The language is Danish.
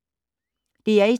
DR1